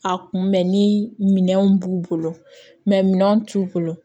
A kunbɛn ni minɛnw b'u bolo minɛn t'u bolo